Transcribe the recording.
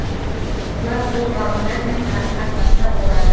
бұлар сол ғалымдармен қарым қатынаста болады